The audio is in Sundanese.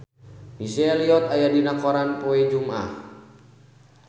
Missy Elliott aya dina koran poe Jumaah